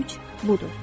Güc budur.